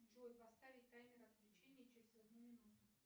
джой поставить таймер отключения через одну минуту